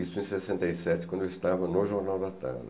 Isso em sessenta e sete, quando eu estava no Jornal da Tarde.